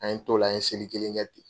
An ye t'o la an ye seli kelen kɛ ten.